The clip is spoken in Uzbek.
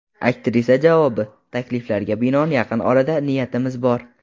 Aktrisa javobi: Takliflarga binoan yaqin orada niyatimiz bor.